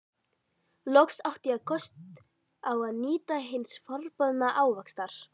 Loks átti ég kost á að njóta hins forboðna ávaxtar!